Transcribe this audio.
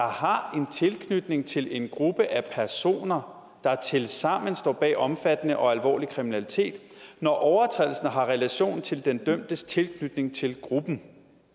har en tilknytning til en gruppe af personer der tilsammen står bag omfattende og alvorlig kriminalitet når overtrædelsen har relation til den dømtes tilknytning til gruppen